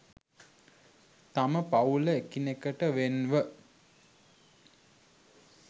තම පවූල එකිනෙකට වෙන් ව